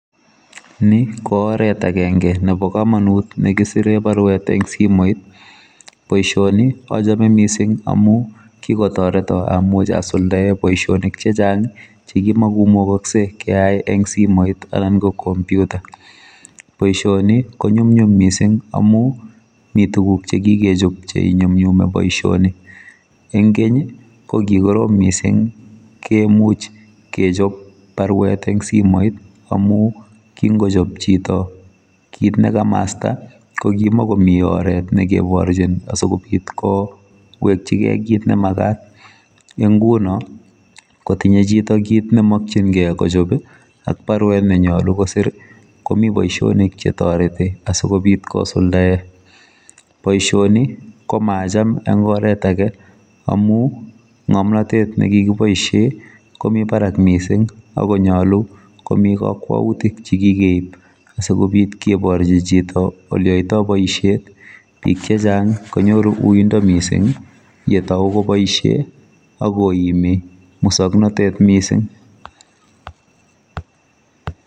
Ni kooret agenge nebo komonut nekisire barwet eng simoit boisioni achome mising amu kikotoreto amuch asuldae boisionik chechang chekimko mugoksei keai eng simet anan ko komputa boisioni koyumnyum mising amu mi tuguk chekikechop cheinyumnyumi boisioni eng keny kokikorom mising kemuch kechop barwet eng simoit amu kingochop chito kit nekamasta kokimikomi oret nekeborhin asikobit kowekyigei kit nemagat eng nguno kotinye chito kiit nemakyingei kochop ak barwet nemyalu kosir komi boisionik chetoreti asikobit kosuldae boisioni komacham eng oret ake amu mgomnotet nekikiboisie komi barak mising akonyolu komi kakwautik chekikeib asikobit keborchi chito oleoitoi boisiet bik chechang konyoru uindo mising yetau koboisie akoimi musoknatet mising